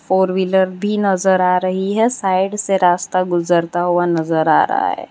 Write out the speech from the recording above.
Four wheeler भी नजर आ रही है साइड से रास्ता गुजरता हुआ नजर आ रहा है।